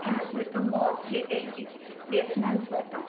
merge ହେଇଯାଇଛି